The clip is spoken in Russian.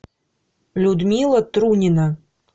людмила трунина